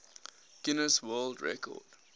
guinness world record